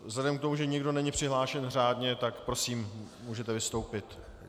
Vzhledem k tomu, že nikdo není přihlášen řádně, tak prosím, můžete vystoupit.